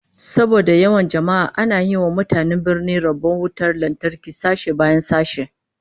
Saboda yawan jama'a ana yi wa mutanen birnin rabon wutar lantarki sashe bayan sashe